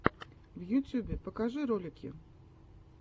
в ютьюбе покажи ролики